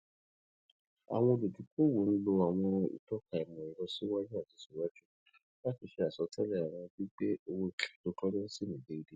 awọn oludokoowo n lo awọn itọka imọẹrọ siwaju ati siwaju sii lati ṣe asọtẹlẹ awọn gbigbe owo cryptocurrency ni deede